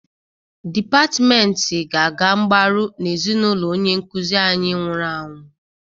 Depatmenti ga-aga mgbaro n'ezinaụlọ onye nkuzi anyị nwụrụ anwụ.